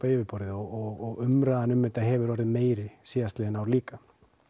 á yfirborðið og umræðan um þetta hefur orðið meiri síðastliðin ár líka